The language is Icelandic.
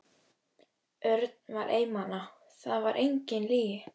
Örn var einmana, það var engin lygi.